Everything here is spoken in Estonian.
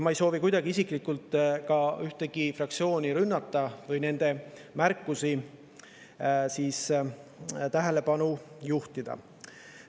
Ma ei soovi ühtegi fraktsiooni isiklikult rünnata või nende märkustele tähelepanu juhtida.